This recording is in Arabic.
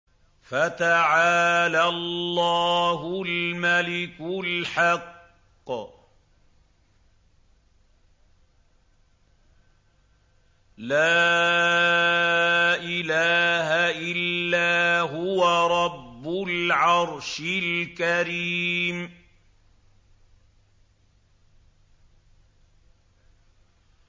فَتَعَالَى اللَّهُ الْمَلِكُ الْحَقُّ ۖ لَا إِلَٰهَ إِلَّا هُوَ رَبُّ الْعَرْشِ الْكَرِيمِ